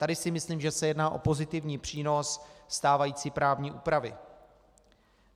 Tady si myslím, že se jedná o pozitivní přínos stávající právní úpravy.